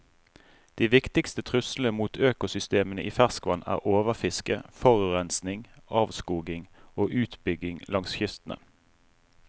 De viktigste truslene mot økosystemene i ferskvann er overfiske, forurensning, avskoging og utbygging langs kystene.